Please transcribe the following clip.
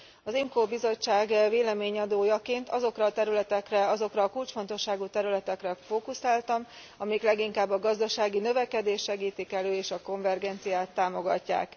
Az IMCO bizottság véleményadójaként azokra a területekre, azokra a kulcsfontosságú területekre fokuszáltam, amelyek leginkább a gazdasági növekedést segítik elő és a konvergenciát támogatják.